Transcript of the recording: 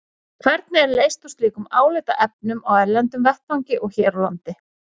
Hvernig er leyst úr slíkum álitaefnum á erlendum vettvangi og hér á landi?